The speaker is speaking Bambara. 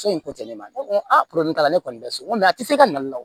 So in ko tɛ ne ma t'a la ne kɔni bɛ so kɔni a tɛ se ka na dɛ